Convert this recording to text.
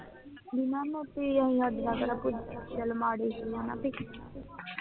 ਬਈ ਸਾਡੇ ਨਾਲ ਕਿਹੜਾ ਕੋਈ ਗੱਲ ਮਾੜੀ ਹੈ ਨਾ ਬੀ?